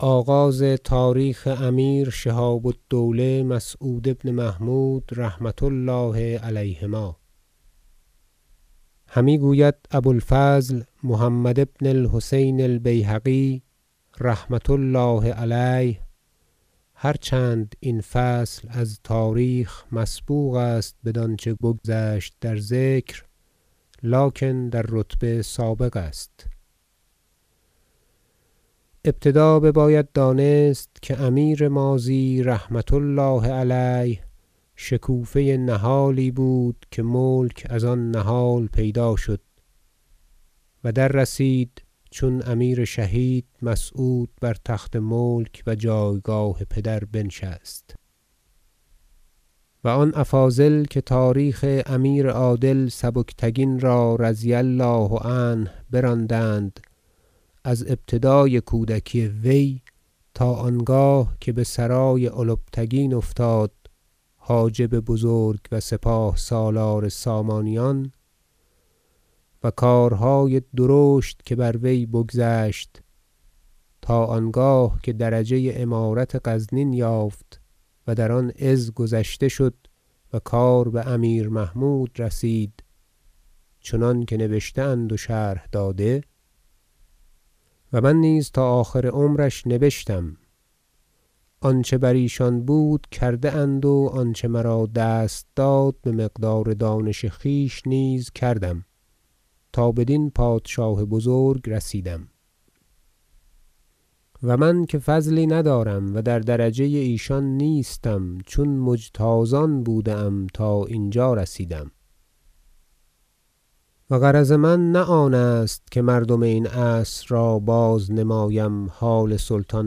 آغاز تاریخ امیر شهاب الدوله مسعود بن محمود رحمة الله علیهما همی گوید ابو الفضل محمد بن الحسین البیهقی رحمة الله علیه هر چند این فصل از تاریخ مسبوق است بدانچه بگذشت در ذکر لکن در رتبه سابق است ابتدا بباید دانست که امیر ماضی رحمة الله علیه شکوفه نهالی بود که ملک از آن نهال پیدا شد و دررسید چون امیر شهید مسعود بر تخت ملک و جایگاه پدر بنشست و آن افاضل که تاریخ امیر عادل سبکتگین را رضی الله عنه براندند از ابتدای کودکی وی تا آنگاه که بسرای البتگین افتاد حاجب بزرگ و سپاه سالار سامانیان و کارهای درشت که بر وی بگذشت تا آنگاه که درجه امارت غزنین یافت و در آن عز گذشته شد و کار بامیر محمود رسید چنانکه نبشته اند و شرح داده و من نیز تا آخر عمرش نبشتم آنچه بر ایشان بود کرده اند و آنچه مرا دست داد بمقدار دانش خویش نیز کردم تا بدین پادشاه بزرگ رسیدم و من که فضلی ندارم و در درجه ایشان نیستم چون مجتازان بوده ام تا اینجا رسیدم و غرض من نه آن است که مردم این عصر را بازنمایم حال سلطان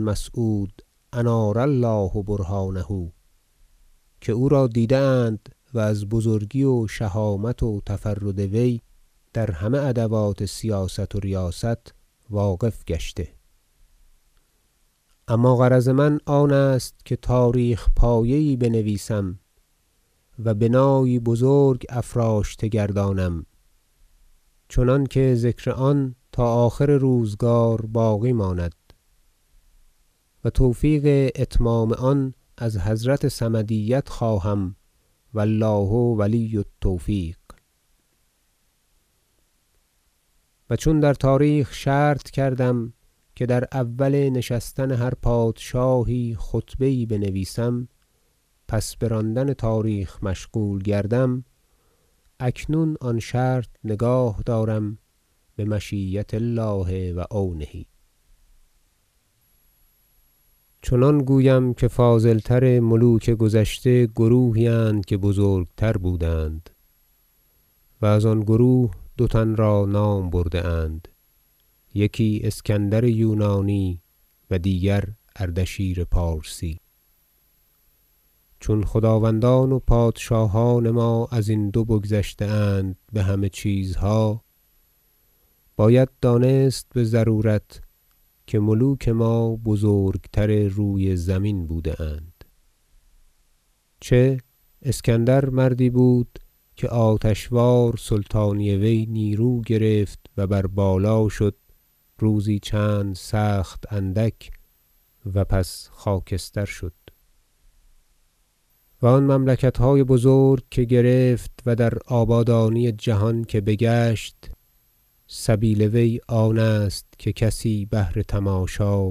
مسعود انار الله برهانه که او را دیده اند و از بزرگی و شهامت و تفرد وی در همه ادوات سیاست و ریاست واقف گشته اما غرض من آن است که تاریخ- پایه یی بنویسم و بنایی بزرگ افراشته گردانم چنانکه ذکر آن تا آخر روزگار باقی ماند و توفیق اتمام آن از حضرت صمدیت خواهم و الله ولی التوفیق و چون در تاریخ شرط کردم که در اول نشستن هر پادشاهی خطبه یی بنویسم پس براندن تاریخ مشغول گردم اکنون آن شرط نگاه دارم بمشیة الله و عونه فصل چنان گویم که فاضل تر ملوک گذشته گروهی اند که بزرگتر بودند و از آن گروه دو تن را نام برده اند یکی اسکندر یونانی و دیگر اردشیر پارسی چون خداوندان و پادشاهان ما ازین دو بگذشته اند بهمه چیزها باید دانست بضرورت که ملوک ما بزرگتر روی زمین بوده اند چه اسکندر مردی بود که آتش وار سلطانی وی نیرو گرفت و بر بالا شد روزی چند سخت اندک و پس خاکستر شد و آن مملکتهای بزرگ که گرفت و در آبادانی جهان که بگشت سبیل وی آنست که کسی بهر تماشا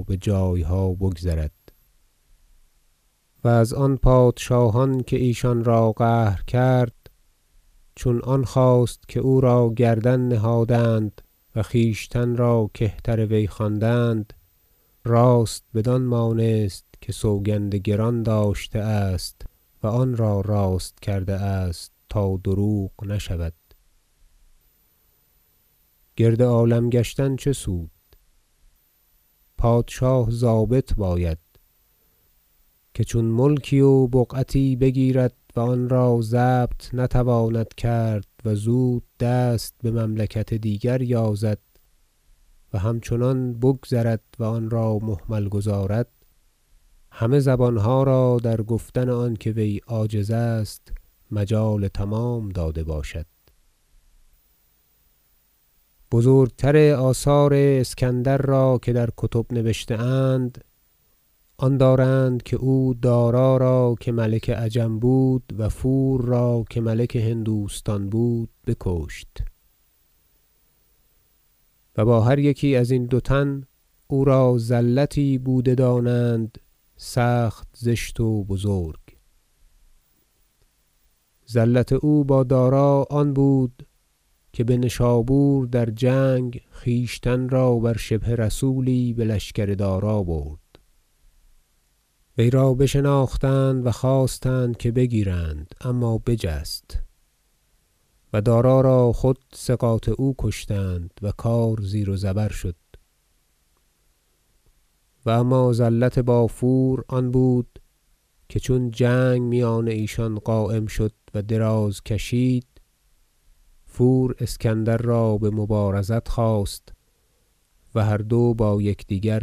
بجایها بگذرد و از آن پادشاهان که ایشان را قهر کرد چون آن خواست که او را گردن نهادند و خویشتن را کهتر وی خواندند راست بدان مانست که سوگند گران داشته است و آن را راست کرده است تا دروغ نشود گرد عالم گشتن چه سود پادشاه ضابط باید که چون ملکی و بقعتی بگیرد و آن را ضبط نتواند کرد و زود دست بمملکت دیگر یازد و همچنان بگذرد و آن را مهمل گذارد همه زبانها را در گفتن آنکه وی عاجز است مجال تمام داده باشد و بزرگتر آثار اسکندر را که در کتب نبشته اند آن دارند که او دارا را که ملک عجم بود و فور را که ملک هندوستان بود بکشت و با هر یکی ازین دو تن او را زلتی بوده دانند سخت زشت و بزرگ زلت او با دارا آن بود که بنشابور در جنگ خویشتن را بر شبه رسولی بلشکر دارا برد وی را بشناختند و خواستند که بگیرند اما بجست و دارا را خود ثقات او کشتند و کار زیر و زبر شد و اما زلت با فور آن بود که چون جنگ میان ایشان قایم شد و دراز کشید فور اسکندر را بمبارزت خواست و هر دو با یکدیگر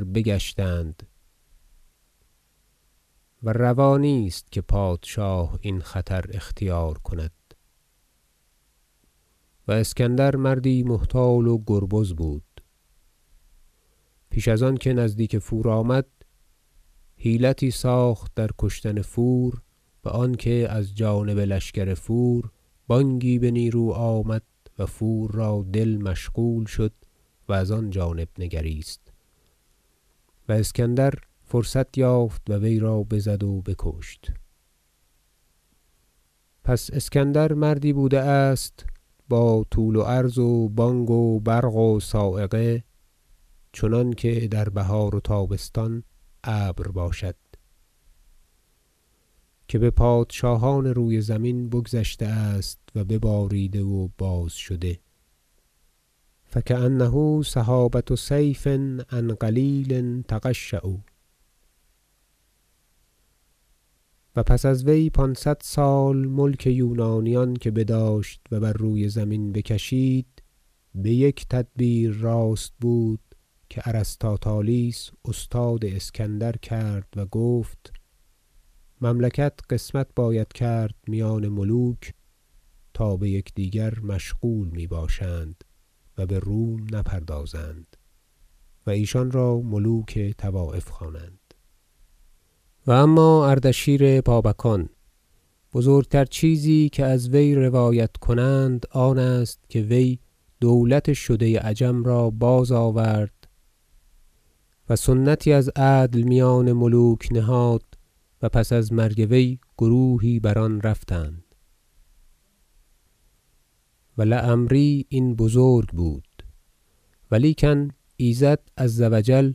بگشتند و روا نیست که پادشاه این خطر اختیار کند و اسکندر مردی محتال و گریز بود پیش از آنکه نزدیک فور آمد حیلتی ساخت در کشتن فور بآنکه از جانب لشکر فور بانگی به نیرو آمد و فور را دل مشغول شد و از آن جانب نگریست و اسکندر فرصت یافت و وی را بزد و بکشت پس اسکندر مردی بوده است با طول و عرض و بانگ و برق و صاعقه چنانکه در بهار و تابستان ابر باشد که بپادشاهان روی زمین بگذشته است و بباریده و باز شده فکأنه سحابة صیف عن قلیل تقشع و پس از وی پانصد سال ملک یونانیان که بداشت و بر روی زمین بکشید بیک تدبیر راست بود که ارسطاطالیس استاد اسکندر کرد و گفت مملکت قسمت باید کرد میان ملوک تا بیکدیگر مشغول می باشند و بروم نپردازند و ایشانرا ملوک طوایف خوانند و اما اردشیر بابکان بزرگتر چیزی که از وی روایت کنند آنست که وی دولت شده عجم را بازآورد و سنتی از عدل میان ملوک نهاد و پس از مرگ وی گروهی بر آن رفتند و لعمری این بزرگ بود ولیکن ایزد عزوجل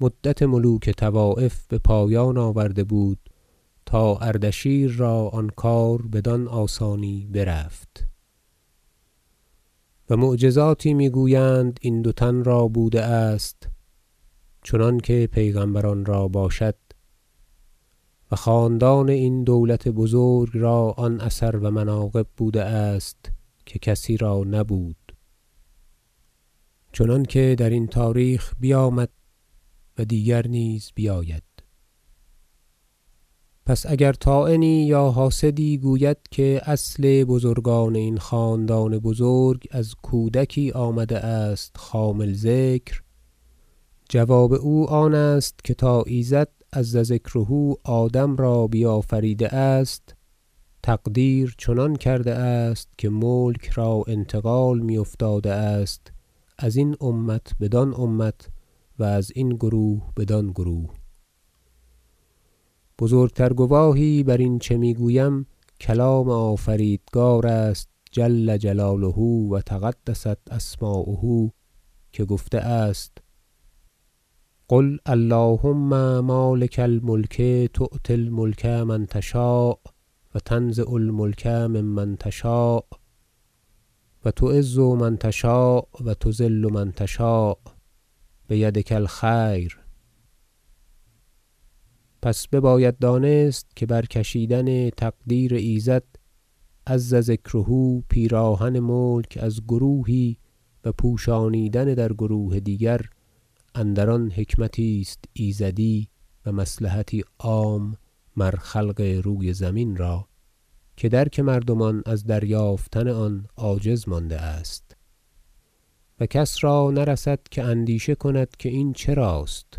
مدت ملوک طوایف بپایان آورده بود تا اردشیر را آن کار بدان آسانی برفت و معجزاتی میگویند این دو تن را بوده است چنانکه پیغمبران را باشد و خاندان این دولت بزرگ را آن اثر و مناقب بوده است که کسی را نبود چنانکه درین تاریخ بیامد و دیگر نیز بیاید پس اگر طاعنی یا حاسدی گوید که اصل بزرگان این خاندان بزرگ از کودکی آمده است خامل ذکر جواب او آنست که تا ایزد عزذکره آدم را بیافریده است تقدیر چنان کرده است که ملک را انتقال می افتاده است ازین امت بدان امت و ازین گروه بدان گروه بزرگتر گواهی بر این چه میگویم کلام آفریدگار است جل جلاله و تقدست اسماءه که گفته است قل اللهم مالک الملک تؤتی الملک من تشاء و تنزع الملک ممن تشاء و تعز من تشاء و تذل من تشاء بیدک الخیر انک علی کل شی ء قدیر پس بباید دانست که برکشیدن تقدیر ایزد عزذکره پیراهن ملک از گروهی و پوشانیدن در گروه دیگر اندران حکمتی است ایزدی و مصلحتی عام مر خلق روی زمین را که درک مردمان از دریافتن آن عاجز مانده است و کس را نرسد که اندیشه کند که این چراست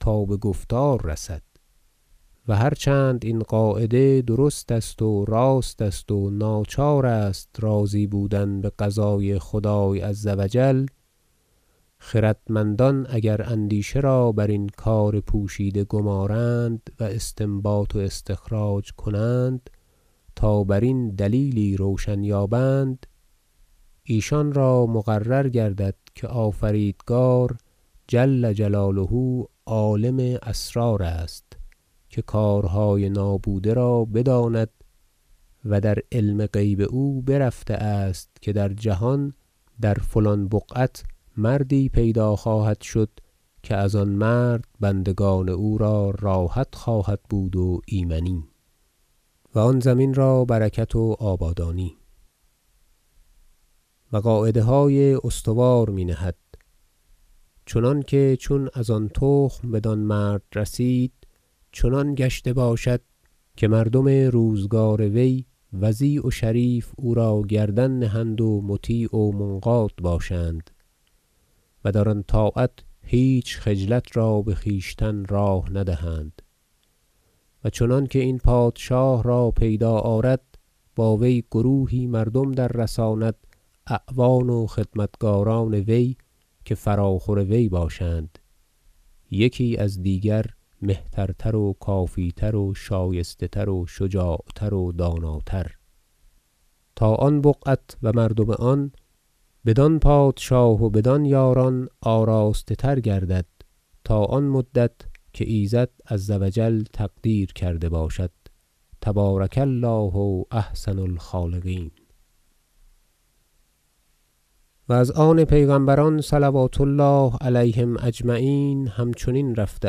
تا بگفتار چه رسد و هرچند این قاعده درست و راست است و ناچار است راضی بودن بقضای خدای عزوجل خردمندان اگر اندیشه را برین کار پوشیده گمارند و استنباط و استخراج کنند تا برین دلیلی روشن یابند ایشان را مقرر گردد که آفریدگار جل جلاله عالم اسرار است که کارهای نابوده را بداند و در علم غیب او برفته است که در جهان در فلان بقعت مردی پیدا خواهد شد که از آن مرد بندگان او را راحت خواهد بود و ایمنی و آن زمین را برکت و آبادانی و قاعده های استوار می نهد چنانکه چون از آن تخم بدان مرد رسید چنان گشته باشد که مردم روزگار وی وضیع و شریف او را گردن نهند و مطیع و منقاد باشند و در آن طاعت هیچ خجلت را بخویشتن راه ندهند و چنانکه این پادشاه را پیدا آرد با وی گروهی مردم دررساند اعوان و خدمتگاران وی که فراخور وی باشند یکی از دیگر مهترتر و کافی تر و شایسته تر و شجاع تر و داناتر تا آن بقعت و مردم آن بدان پادشاه و بدان یاران آراسته تر گردد تا آن مدت که ایزد عزوجل تقدیر کرده باشد تبارک الله احسن الخالقین و از آن پیغمبران صلوات الله علیهم اجمعین همچنین رفته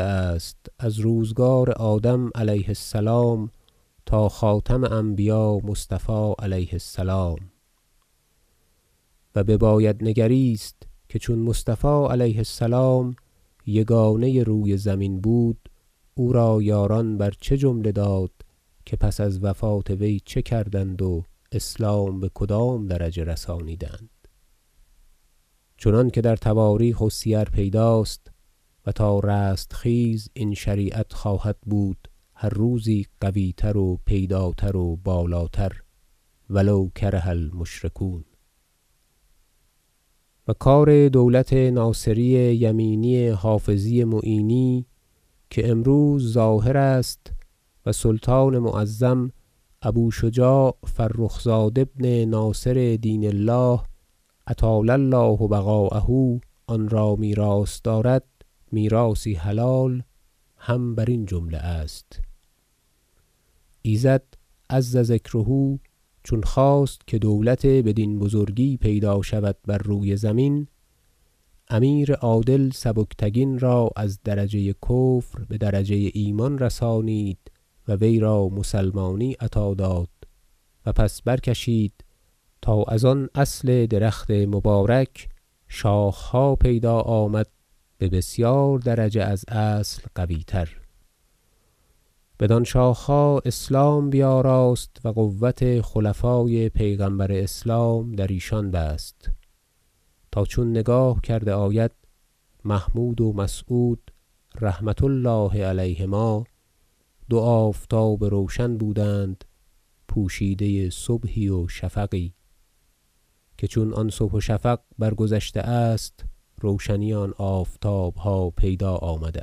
است از روزگار آدم علیه السلام تا خاتم انبیا مصطفی علیه السلام و بباید نگریست که چون مصطفی علیه السلام یگانه روی زمین بود او را یاران بر چه جمله داد که پس از وفات وی چه کردند و اسلام بکدام درجه رسانیدند چنانکه در تواریخ و سیر پیداست و تا رستخیز این شریعت خواهد بود هر روز قوی تر و پیداتر و بالاتر و لو کره المشرکون و کار دولت ناصری یمینی حافظی معینی که امروز ظاهر است و سلطان معظم ابو شجاع فرخ زاد ابن ناصر دین الله اطال الله بقاءه آن را میراث دارد میراثی حلال هم برین جمله است ایزد عزذکره چون خواست که دولت بدین بزرگی پیدا شود بر روی زمین امیر عادل سبکتگین را از درجه کفر بدرجه ایمان رسانید و وی را مسلمانی عطا داد و پس برکشید تا از آن اصل درخت مبارک شاخها پیدا آمد به بسیار درجه از اصل قوی تر بدان شاخها اسلام بیاراست و قوة خلفای پیغمبر اسلام در ایشان بست تا چون نگاه کرده آید محمود و مسعود رحمة الله علیهما دو آفتاب روشن بودند پوشیده صبحی و شفقی که چون آن صبح و شفق برگذشته است روشنی آن آفتابها پیدا آمده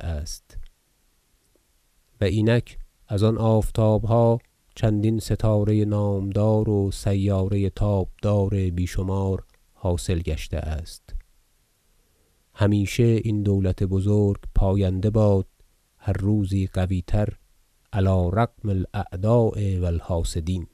است و اینک از آن آفتابها چندین ستاره نامدار و سیاره تابدار بی شمار حاصل گشته است همیشه این دولت بزرگ پاینده باد هر روز قوی تر علی رغم الاعداء و الحاسدین